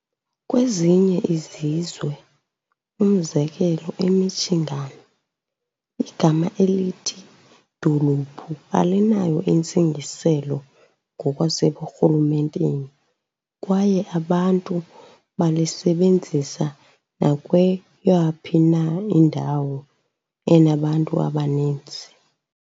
Kwezinye izizwe, umzekelo eMichigan, igama elithi "dolophu" alinayo intsingiselo ngokwaseburhulumenteni kwaye abantu balisebenzisa nakweyaphi na indawo enabantu abaninzi.